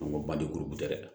An ko ba de kolo bo tɛ dɛ